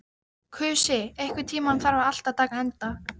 Kusi, einhvern tímann þarf allt að taka enda.